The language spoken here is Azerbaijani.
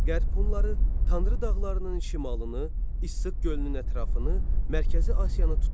Qərb Hunları Tanrı dağlarının şimalını, İssıq gölünün ətrafını, Mərkəzi Asiyanı tutdular.